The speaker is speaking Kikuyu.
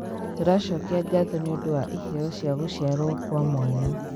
Tũracokia ngatho nĩũndũ wa iheeo cia gũciarwo kwa mwana.